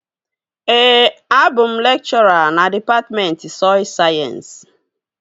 Ee, abụ m lekchọra na dịpatmentị sọy sayensị